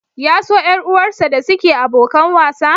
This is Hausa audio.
Ya so ƴar uwarsa da suke abokan wasa?